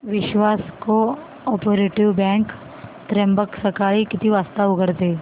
विश्वास cooperative bank Trimbak सकाळी किती वाजता उघडते